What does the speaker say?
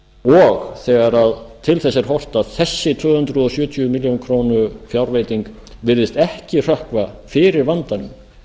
og þegar til þess er horft að þessi tvö hundruð sjötíu milljónum króna fjárveiting virðist ekki hrökkva fyrir vandanum